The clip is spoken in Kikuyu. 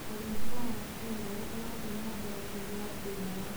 ũrĩithia wa qũĩrũ ũrathi na mbere kũgia ngumo.